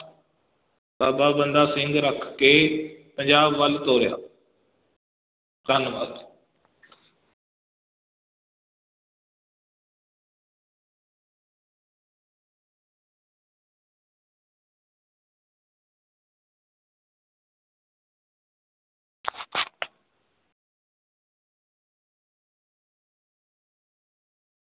ਬਾਬਾ ਬੰਦਾ ਸਿੰਘ ਰੱਖ ਕੇ ਪੰਜਾਬ ਵੱਲ ਤੋਰਿਆ ਧੰਨਵਾਦ।